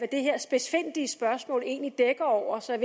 det her spidsfindige spørgsmål egentlig dækker over så